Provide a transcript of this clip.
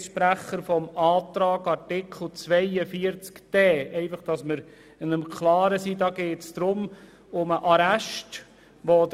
Ich spreche hier als Vertreter der Kommissionsminderheit zu Artikel 42 Absatz 1 Buchstabe d.